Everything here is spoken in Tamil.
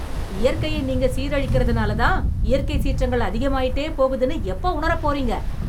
இயற்கையை நீங்க சீரழிக்கறதனால்தான், இயற்கைச் சீற்றங்கள் அதிகமாயிட்டே போகுதுன்னு எப்போ உணரப் போறீங்க...